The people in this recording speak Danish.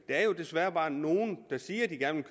er jo desværre bare nogle der siger at de gerne